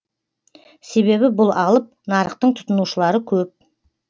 себебі бұл алып нарықтың тұтынушылары көп